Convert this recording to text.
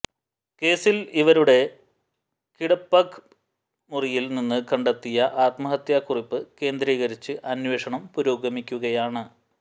കേസിൽ ഇവരുെട കിടപഗ്പ് മുറിയിൽ നിന്ന് കണ്ടെത്തിയ ആത്മഹത്യാ കുറിപ്പ് കേന്ദ്രീകരിച്ച് അന്വേഷണം പുരോഗമിക്കുകയാണ്